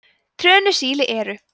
trönusíli eru